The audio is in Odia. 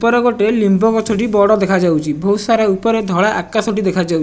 ଉପରେ ଗୋଟେ ଲିମ୍ବ ଗଛଟି ବଡ ଦେଖାଯାଉଚି ବୋହୁତ ସାରା ଉପରେ ଧଳା ଆକାଶଟି ଦେଖାଯାଉ --